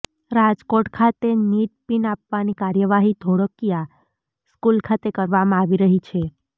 રાજકોટ ખાતે NEET pin આપવાની કાર્યવાહી ધોળકિયા સ્કૂલ ખાતે કરવામાં આવી રહી છે